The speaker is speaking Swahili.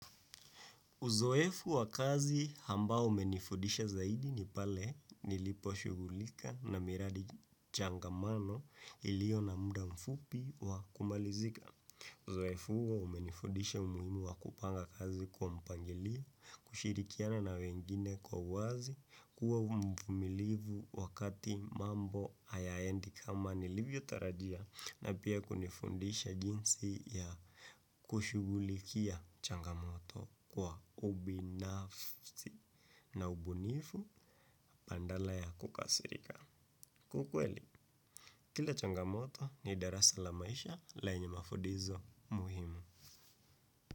Uzoefu wa kazi hambao umenifudisha zaidi ni pale nilipo shugulika na miradi changamano ilio na muda mfupi wa kumalizika. Uzoefu huo umenifundisha umuhimu wa kupanga kazi kwa mpangilio, kushirikiana na wengine kwa uwazi, kuwa mvumilivu wakati mambo hayaendi kama nilivyo tarajia na pia kunifundisha jinsi ya kushugulikia changamoto kwa ubinafsi na ubunifu pandala ya kukasirika. Kwa ukweli, kila changamoto ni darasa la maisha lenye mafudizo umuhimu.